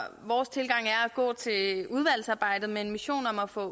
vores tilgang er at gå til udvalgsarbejdet med en mission om at få